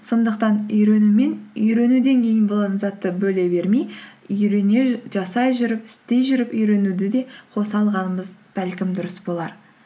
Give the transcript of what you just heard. сондықтан үйрену мен үйренуден кейін болған затты бөле бермей үйрене жасай жүріп істей жүріп үйренуді де қоса алғанымыз бәлкім дұрыс болар